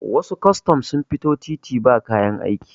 wasu kwastan sun fito titi ba kayan aiki